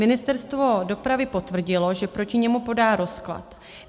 Ministerstvo dopravy potvrdilo, že proti němu podá rozklad.